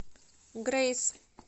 грэйс